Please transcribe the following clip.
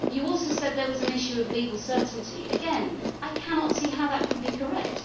You also said there was an issue of legal certainty. Again I cannot see how that can be correct